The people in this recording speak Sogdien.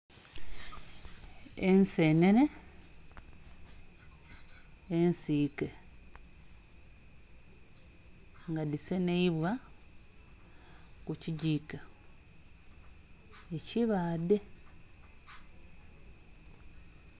Ensenene ensiike nga dhi seneibwa ku kigiko ekibaadhe.